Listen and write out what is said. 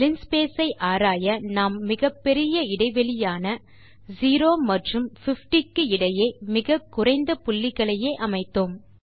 linspace ஐ ஆராய நாம் மிகப்பெரிய இடை வெளியான 0 மற்றும் 50 க்கு இடையே மிகக்குறைந்த புள்ளிகளையே அமைத்தோம்